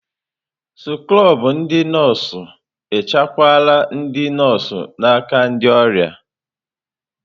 Skrobụ ndị nọọsụ echekwala ndị nọọsụ n'aka ndị ọrịa.